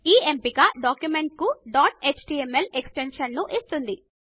ఈ ఎంపిక డాక్యుమెంట్ కు డాట్ ఎచ్టీఎంఎల్ ఎక్స్ టెన్షన్ ను ఇస్తుంది